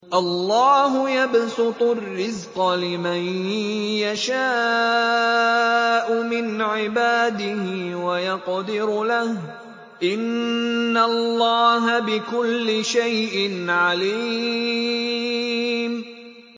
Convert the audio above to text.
اللَّهُ يَبْسُطُ الرِّزْقَ لِمَن يَشَاءُ مِنْ عِبَادِهِ وَيَقْدِرُ لَهُ ۚ إِنَّ اللَّهَ بِكُلِّ شَيْءٍ عَلِيمٌ